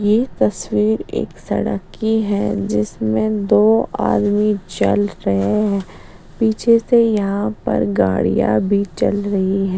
ये तस्वीर एक सड़क की है जिसमे दो आदमी चल रहे हैं पीछे से यहाँ पर गाड़ियाँ भी चल रही हैं --